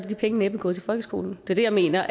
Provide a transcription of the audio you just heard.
de penge næppe gået til folkeskolen det er det jeg mener